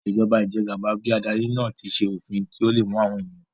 Ìṣèjọba ijẹgàba bí adarí náà tí fi òfin tó le mú àwọn ènìyàn